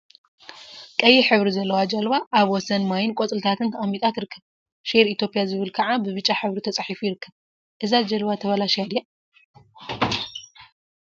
ቀይሕ ሕብሪ ዘለዋ ጀልባ አብ ወሰን ማይን ቆፅሊታትን ተቀሚጣ ትርከብ፡፡ ሼር ኢትዮጵያ ዝብል ከዓ ብብጫ ሕብሪ ተፃሒፉ ይርከብ፡፡ እዛ ጀልባ ተበላሽያ ድያ?